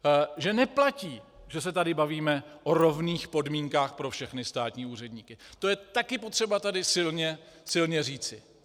Že neplatí, že se tady bavíme o rovných podmínkách pro všechny státní úředníky, to je také potřeba tady silně říci.